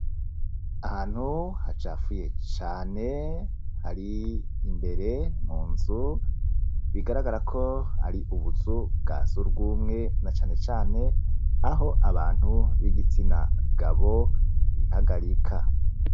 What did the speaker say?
Ahantu hacafuye cane hari imbere munzu bigaragarako hari ubuzu bwa sugumwe cane cane aho abantu bigitsi na gabo bihagarika